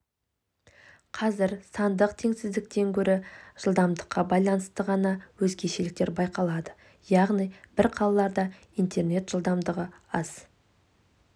қазір сандық теңсіздіктен гөрі жылдамдыққа байланысты ғана өзгешеліктер байқалады яғни бір қалаларда интернет жылдамдығы аз